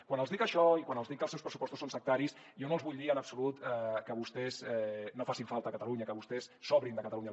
quan els dic això i quan els dic que els seus pressupostos són sectaris jo no els vull dir en absolut que vostès no facin falta a catalunya que vostès sobrin de catalunya